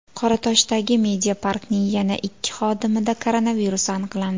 Qoratoshdagi Mediapark’ning yana ikki xodimida koronavirus aniqlandi.